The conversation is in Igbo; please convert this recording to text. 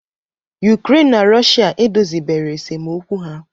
Ukraine na Russia edozibero esemokwu ha